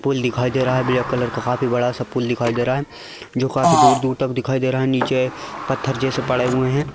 पुल दिखाई दे रहा है ब्लैक कलर का काफी बड़ा सा पूल दिखाई दे रहा है जो काफी दूर-दूर तक दिखाई दे रहा है नीचे पत्थर जैसे पड़े हुए हैं।